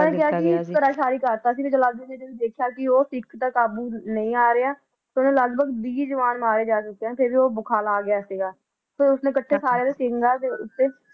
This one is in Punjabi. ਜਲਾਲੁਦੀਨ ਨੇ ਦੇਖੀਆ ਕੀ ਸਿਖ ਕਾਬੂ ਨਹੀ ਆ ਰਹਾ ਲਗਡਗ ਉਦੇ ਵੀਹ ਜਵਾਨ ਮਾਰੇ ਚੁਕੇ ਸਨ ਤਾ ਉਹ ਬਖਲਾ ਗਿਆ ਸੀ ਫਿਰ ਉਸ ਨੇ ਇਕੱਠਿਆਂ